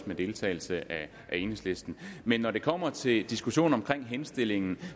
med deltagelse af enhedslisten men når det kommer til diskussionen om henstillingen